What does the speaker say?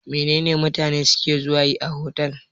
Mene ne mutane suke zuwa yi a otal?